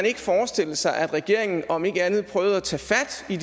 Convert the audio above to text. ikke forestille sig at regeringen om ikke andet prøvede at tage fat i